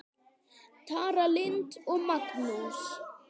Tara Lynd og Magnús.